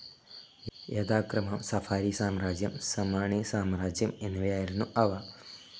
യഥാക്രമം സഫാരി സാമ്രാജ്യം, സമാണി സാമ്രാജ്യം എന്നിവയായിരുന്നു അവ.